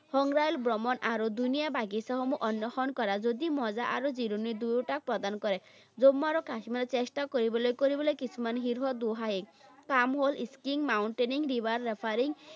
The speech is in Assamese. সংগ্ৰহালয় ভ্ৰমণ আৰু ধুনীয়া বাগিচাসমূহ অন্বেষণ কৰা যদি মজা আৰু জিৰণি দুয়োটা প্ৰদান কৰে। জম্মু আৰু কাশ্মীৰত চেষ্টা কৰিবলৈ কৰিবলৈ কিছুমান শীৰ্ষ দুঃসাহসিক কাম হ'ল, skiing, mountaining, river